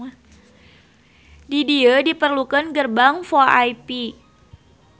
Di dieu diperlukeun gerbang VoIP